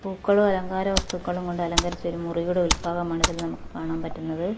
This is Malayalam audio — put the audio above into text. പൂക്കളും അലങ്കാരവസ്തുക്കളും കൊണ്ടലങ്കരിച്ച ഒരു മുറിയുടെ ഉൾഭാഗമാണ് ഇതിൽ നമുക്ക് കാണാൻ പറ്റുന്നത്.